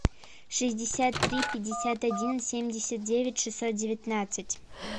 шестьдесят три пятьдесят один семьдесят девять шестьсот девятнадцать